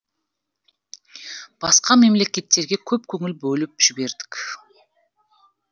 басқа мемлекеттерге көп көңіл бөліп жібердік